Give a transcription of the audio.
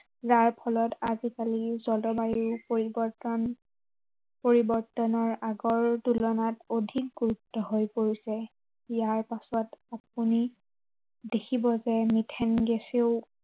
যাৰ ফলত আজিকালি জলবায়ু পৰিৱৰ্তন, পৰিৱৰ্তনৰ আগৰ তুলনাত অধিক গুৰুত্ব হৈ পৰিছে। ইযাৰ পাছত আপুনি দেখিব যে মিথেন গেছেও